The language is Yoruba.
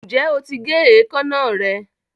ǹjẹ́ o ti gé èékánná rẹ?